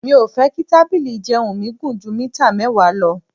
Mi ò fẹ́ kí tábìlì ìjẹun mi gùn ju mítà mẹ́wàá lọ.